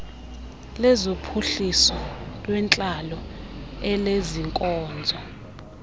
lezophuhliso lwentlalo elezeenkonzo